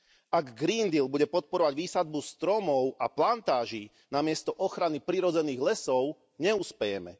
Ak Green Deal bude podporovať výsadbu stromov a plantáží namiesto ochrany prirodzených lesov, neuspejeme.